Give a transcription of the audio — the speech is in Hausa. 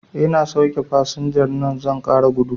Ina sauke fasinjar nan zan ƙara gudu